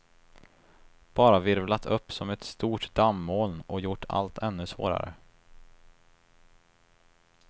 Bara virvlat upp som ett stort dammoln och gjort allt ännu svårare.